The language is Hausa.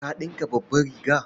Ka ɗinka babbar riga.